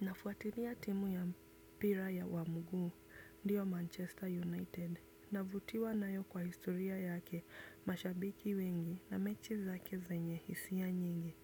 Nafuatilia timu ya mpira ya wa mguuu, ndiyo Manchester United, navutiwa na yo kwa historia yake mashabiki wengi na mechi zake zenye hisi ya nyingi.